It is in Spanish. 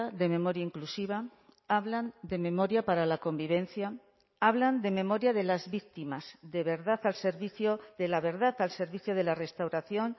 de memoria inclusiva hablan de memoria para la convivencia hablan de memoria de las víctimas de verdad al servicio de la verdad al servicio de la restauración